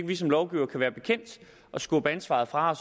vi som lovgivere kan være bekendt at skubbe ansvaret fra